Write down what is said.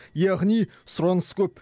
яғни сұраныс көп